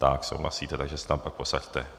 Tak, souhlasíte, takže se tam pak posaďte.